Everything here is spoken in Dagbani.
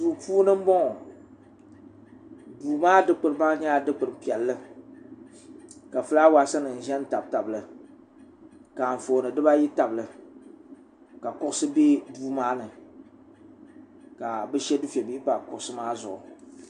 duu puuni n boŋo duu maa dikpuni nyɛla dikpuni piɛlli ka fulaawaasi nim ʒɛnʒɛ n tabi tabili ka anfooni dibayi tabili ka kuɣusi bɛ duu maa ni ka bi shɛ dufɛ bihi pa kuɣusi maa zuɣu